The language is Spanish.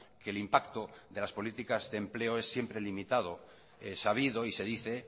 que el impacto de las políticas de empleo es siempre limitado sabido y se dice